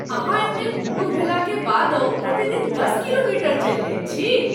अहाँ एतेक बूढ़ भेलाक बादहु प्रतिदिन दश किलोमीटर चलि लैत छी?